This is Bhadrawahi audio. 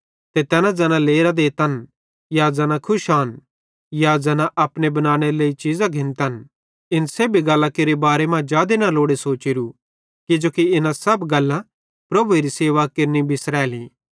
ते तैना ज़ैना लेरां देतन या ज़ैना खुश आन या ज़ैना अपनी बनानेरे लेइ चीज़न घिन्तन इन सेब्भी गल्लां केरे बारे मां जादे लोड़े सोचोरू किजोकि इना सब गल्लां प्रभुएरी सेवा केरनि बिसरैली